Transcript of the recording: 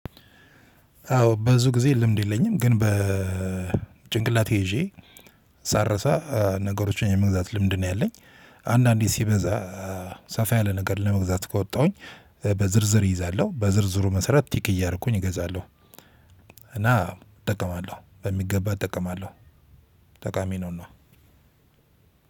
አዎ ብዙ ጊዜ ልምድ የለኝም ግን በጭንቅላቴ ይዤ ሳልረሳ ነገሮችን የመግዛት ልምድ ነው ያለኝ አንዳንዴ ሲበዛ ሰፋ ያለ ነገር ለመግዛት ከወጣሁኝ በዝርዝር እይዛለሁ በዝርዝሩ መሰረት ቼክ እያደረኩኝ እገዛለሁ። እና እጠቀማለሁ በሚገባ እጠቀማለሁ ጠቃሚ ነውና